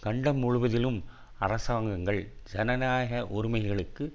கண்டம் முழுவதிலும் அரசாங்கங்கள் ஜனநாயக உரிமைகளுக்கு